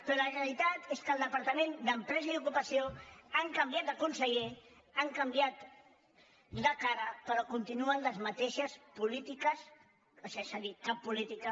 però la realitat és que al departament d’empresa i ocupació han canviat de conseller han canviat de cara però continuen les mateixes polítiques o sigui és a dir cap política